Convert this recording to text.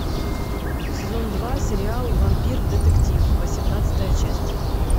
сезон два сериал вампир детектив восемнадцатая часть